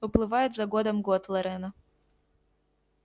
уплывает за годом год лорена